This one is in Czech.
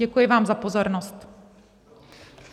Děkuji vám za pozornost.